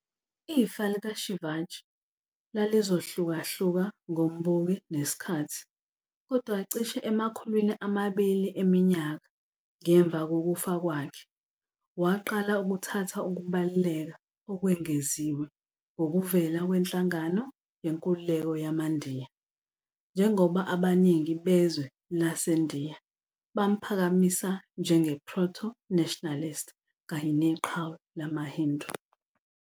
Ifa likaShivaji lalizohlukahluka ngombuki nesikhathi, kodwa cishe emakhulwini amabili eminyaka ngemva kokufa kwakhe, waqala ukuthatha ukubaluleka okwengeziwe ngokuvela kwenhlangano yenkululeko yamaNdiya, njengoba abaningi bezwe baseNdiya bamphakamisa njenge-proto-nationalist kanye neqhawe lamaHindu..